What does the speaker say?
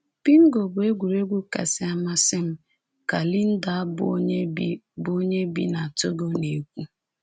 Bingo bụ egwuregwu kasị amasị m,” ka Linda, bụ́ onye bi bụ́ onye bi na Togo, na-ekwu.